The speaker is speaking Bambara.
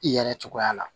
I yɛrɛ cogoya la